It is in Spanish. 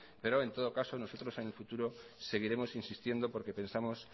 pero en todo caso nosotros en el futuro seguiremos insistiendo porque pensamos